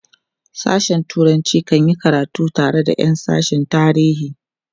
sashen turanci kan yi karatu tare da Yan sashen tarihi